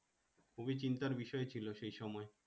খুবই চিন্তার বিষয় ছিল সেই সময়।